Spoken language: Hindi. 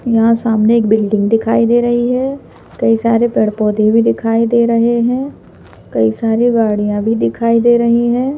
यहां सामने एक बिल्डिंग दिखाई दे रही है कई सारे पेड़-पौधे भी दिखाई दे रहे हैं कई सारी गाड़ियां भी दिखाई दे रही हैं।